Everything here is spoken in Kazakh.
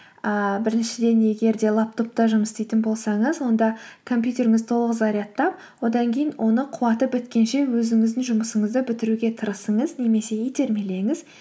ыыы біріншіден егер де лаптопта жұмыс істейтін болсаңыз онда компьютеріңізді толық зарядтап одан кейін оны қуаты біткенше өзіңіздің жұмысыңызды бітіруге тырысыңыз немесе итермелеңіз